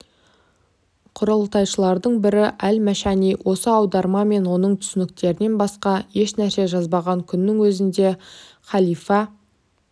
құрылтайшыларының бірі әл-машани осы аударма мен оның түсініктерінен басқа еш нәрсе жазбаған күннің өзінде халифа